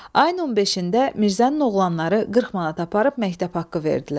Ayın 15-də Mirzənin oğlanları 40 manat aparıb məktəb haqqı verdilər.